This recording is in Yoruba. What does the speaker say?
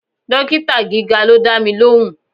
Dókítà gíga ló dámi lóhùn.